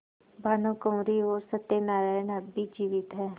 भानुकुँवरि और सत्य नारायण अब भी जीवित हैं